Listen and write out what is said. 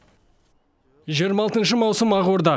жиырма алтыншы маусым ақорда